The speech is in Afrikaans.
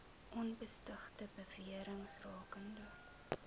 onbevestigde bewerings rakende